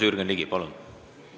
Jürgen Ligi, palun!